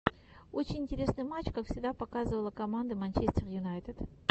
очень интересный матч как всегда показывало команды манчестер юнайтед